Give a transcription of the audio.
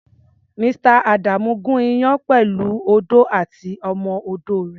Mr.. Adamu ń gùn iyán pẹ̀lú odó àti ọmọ-odó rẹ̀.